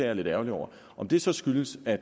er lidt ærgerlig over om det så skyldes at